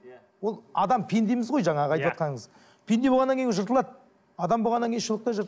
ол адам пендеміз ғой жаңағы айтыватқаныңыз пенде болғаннан кейін жыртылады адам болғаннан кейін шұлық та